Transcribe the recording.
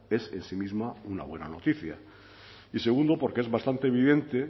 es en sí misma una buena noticia y segundo porque es bastante evidente